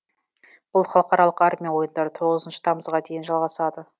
бұл халықаралық армия ойындары тоғызыншы тамызға дейін жалғасады